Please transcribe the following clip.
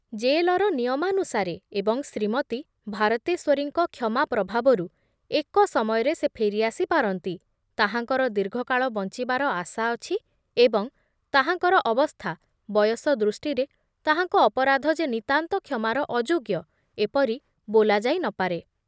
ଜେଲର ନିୟମାନୁସାରେ ଏବଂ ଶ୍ରୀମତୀ ଭାରତେଶ୍ଵରୀଙ୍କ କ୍ଷମା ପ୍ରଭାବରୁ ଏକ ସମୟରେ ସେ ଫେରି ଆସି ପାରନ୍ତି, ତାହାଙ୍କର ଦୀର୍ଘକାଳ ବଞ୍ଚିବାର ଆଶା ଅଛି ଏବଂ ତାହାଙ୍କର ଅବସ୍ଥା ବୟସ ଦୃଷ୍ଟିରେ ତାହାଙ୍କ ଅପରାଧ ଯେ ନିତାନ୍ତ କ୍ଷମାର ଅଯୋଗ୍ୟ ଏପରି ବୋଲାଯାଇ ନ ପାରେ ।